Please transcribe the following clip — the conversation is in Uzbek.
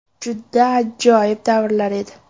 Juda ajoyib davrlar edi.